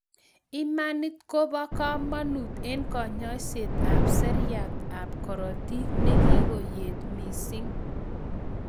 Imanitib ko bo kamanut en kanyoiset ab seriat ab korotik nekikoyet missing